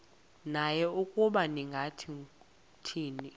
naye ukuba ningathini